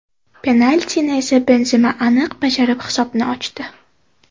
Penaltini esa Benzema aniq bajarib hisobni ochdi.